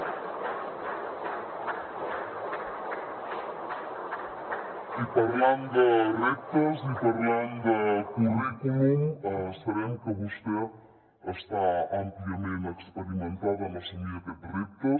i parlant de reptes i parlant de currículum sabem que vostè està àmpliament experimentada en assumir aquests reptes